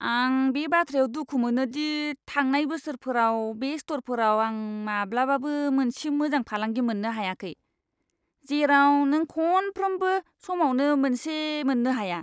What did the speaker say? आं बे बाथ्रायाव दुखु मोनो दि थांनाय बोसोरफोराव बे स्ट'रफोराव आं माब्लाबाबो मोनसे मोजां फालांगि मोननो हायाखै, जेराव नों खनफ्रोमबो समावनो मोनसे मोननो हायो!